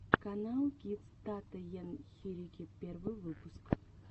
каналкидс тата ен хирики первый выпуск